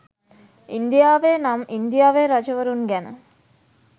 ඉන්දියාවේ නම් ඉන්දියාවේ රජවරුන් ගැන